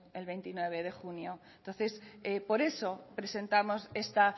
ello el veintinueve de junio entonces por eso presentamos esta